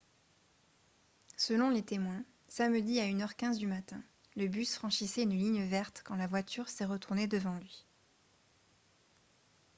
selon les témoins samedi à 1 h 15 du matin le bus franchissait une ligne verte quand la voiture s'est retournée devant lui